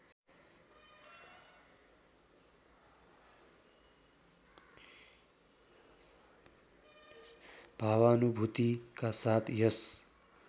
भावानुभूतिका साथ यस